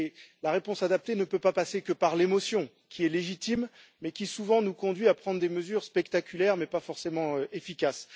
Celle ci ne peut pas passer uniquement par l'émotion, qui est légitime, mais qui souvent nous conduit à prendre des mesures spectaculaires mais pas forcément efficaces.